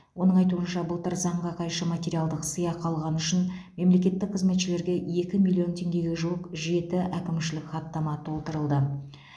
оның айтуынша былтыр заңға қайшы материалдық сыйақы алғаны үшін мемлекеттік қызметшілерге екі миллион теңгеге жуық жеті әкімшілік хаттама толтырылды